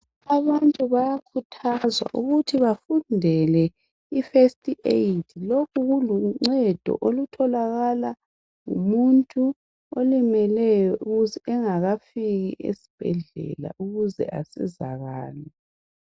Abantu bayakhuthazwa ukuthi bafundele iFirst Aid. Lokhu kuluncedo olutholwa ngumuntu olimeleyo ukuze engakafiki esibhedlela ukuze asizakale